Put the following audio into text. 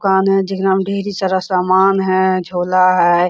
दुकान है समान है झोला है।